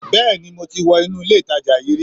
Bẹ́ẹ̀ni mo ti wọ inú ilè ìtajà yíí rí